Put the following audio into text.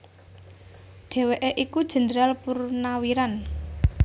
Dhèwèké iku Jendral Purnawiran